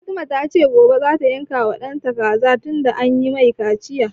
Fatima ta ce gobe za ta yanka wa ɗanta kaza tunda an yi mai kaciya